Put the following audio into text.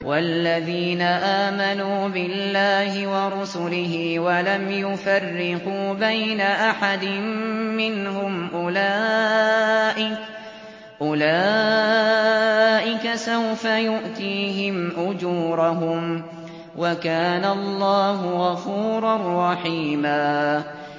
وَالَّذِينَ آمَنُوا بِاللَّهِ وَرُسُلِهِ وَلَمْ يُفَرِّقُوا بَيْنَ أَحَدٍ مِّنْهُمْ أُولَٰئِكَ سَوْفَ يُؤْتِيهِمْ أُجُورَهُمْ ۗ وَكَانَ اللَّهُ غَفُورًا رَّحِيمًا